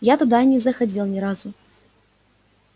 я туда и не заходил ни разу